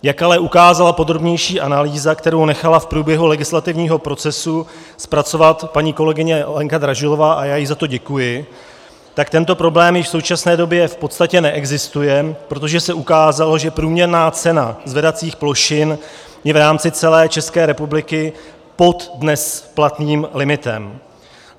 Jak ale ukázala podrobnější analýza, kterou nechala v průběhu legislativního procesu zpracovat paní kolegyně Lenka Dražilová - a já jí za to děkuji - tak tento problém již v současné době v podstatě neexistuje, protože se ukázalo, že průměrná cena zvedacích plošin je v rámci celé České republiky pod dnes platným limitem.